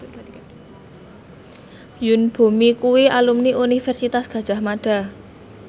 Yoon Bomi kuwi alumni Universitas Gadjah Mada